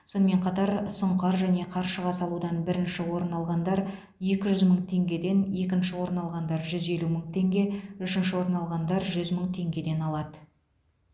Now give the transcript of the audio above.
сонымен қатар сұңқар және қаршыға салудан бірінші орын алғандар екі жүз мың теңгеден екінші орын алғандар жүз елу мың теңге үшінші орын алғандар жүз мың теңгеден алады